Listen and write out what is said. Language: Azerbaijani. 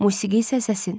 Musiqi isə səsin.